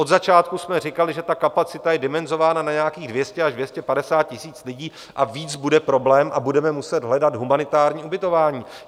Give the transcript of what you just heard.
Od začátku jsme říkali, že ta kapacita je dimenzována na nějakých 200 až 250 tisíc lidí a víc bude problém a budeme muset hledat humanitární ubytování.